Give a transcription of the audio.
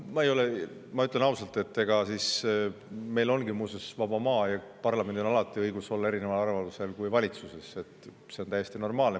Ma ütlen ausalt, et meil ongi muuseas vaba maa ja parlamendil on alati õigus olla valitsusest erineval arvamusel, see on täiesti normaalne.